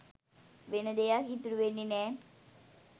වෙන දෙයක් ඉතුරු වෙන්නෙ නෑ.